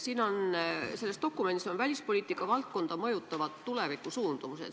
Siin selles dokumendis on välispoliitika valdkonda mõjutavad tulevikusuundumused.